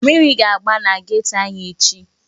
Mmiri ga-agba na geto anyị echi.